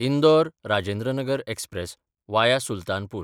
Indore Rajendranagar express (via Sultanpur)